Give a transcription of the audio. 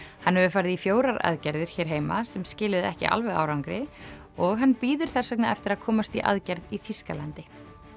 hann hefur farið í fjórar aðgerðir hér heima sem skiluðu ekki alveg árangri og hann bíður þess vegna eftir að komast í aðgerð í Þýskalandi